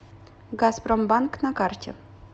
газпромбанк на карте